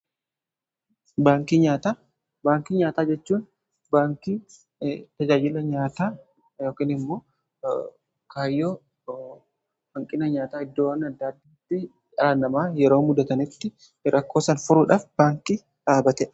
Baankii nyaataa:Baankii nyaataa jechuun baankii tajaajila nyaataa yookiin immoo kaayyoo hanqina nyaataa iddoowwan adda addaatti dhaanamaa yeroo mudatanitti rakkoo san furuudhaaf baankii dhaabatedha.